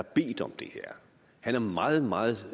bedt om det her han er meget meget